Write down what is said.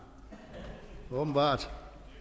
ordet